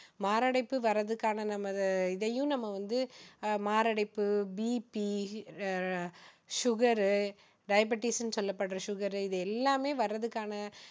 மாரடைப்பு வர்றதுக்கான நம்ம இதையும் நம்ம வந்து மாரடைப்பு BP sugar diabetes னு சொல்லப்படுற sugar இது எல்லாமே வர்றதுக்கான